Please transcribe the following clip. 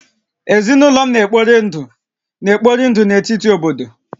Ezinụlọ m na-ekpori ndụ na-ekpori ndụ na etiti obodo